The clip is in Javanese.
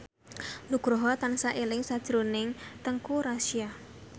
Nugroho tansah eling sakjroning Teuku Rassya